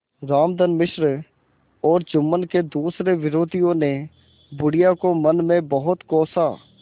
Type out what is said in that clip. रामधन मिश्र और जुम्मन के दूसरे विरोधियों ने बुढ़िया को मन में बहुत कोसा